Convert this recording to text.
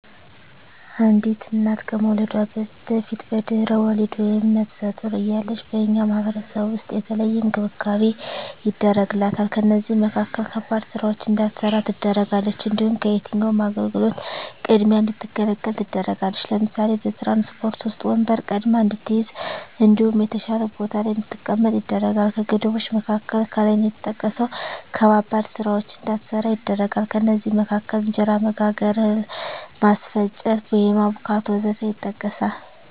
አንዲት እና ከመዉለዷ በፊት(በድሕረ ወሊድ)ወይም ነብሰ ጡር እያለች በእኛ ማህበረሰብ ዉስጥ የተለየ እንክብካቤ ይደረግላታል ከእነዚህም መካከል ከባድ ስራወችን እንዳትሰራ ትደረጋለች። እንዲሁም ከየትኛዉም አገልግሎት ቅድሚያ እንድትገለገል ትደረጋለች ለምሳሌ፦ በትራንስፖርት ዉስጥ ወንበር ቀድማ እንድትይዝ እንዲሁም የተሻለ ቦታ ላይ እንድትቀመጥ ይደረጋል። ከገደቦች መካከል ከላይ እንደተጠቀሰዉ ከባባድ ስራወችን እንዳትሰራ ይደረጋል ከእነዚህም መካከል እንጀራ መጋገር፣ እህል ማስፈጨት፣ ቡሆ ማቡካት ወዘተ ይጠቀሳል